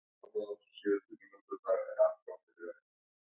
Vísindavefurinn hefur fengið margar spurningar um svartadauða.